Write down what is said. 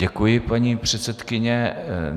Děkuji, paní předsedkyně.